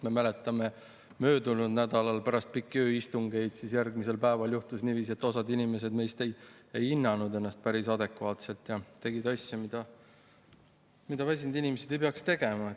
Me mäletame, et möödunud nädalal pärast pikki ööistungeid juhtus järgmisel päeval niiviisi, et osa meist ei hinnanud ennast päris adekvaatselt ja tegid asju, mida väsinud inimesed ei peaks tegema.